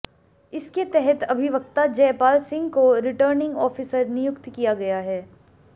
इसके तहत अभिवक्ता जयपाल सिंह को रिटर्निंग ऑफिसर नियुक्त किया गया है